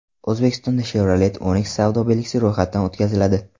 O‘zbekistonda Chevrolet Onix savdo belgisi ro‘yxatdan o‘tkaziladi.